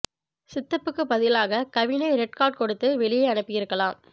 சித்தப்புக்கு பதிலாக கவினை red card கொடுத்து வெளியே அனுப்பி இருக்கலாம்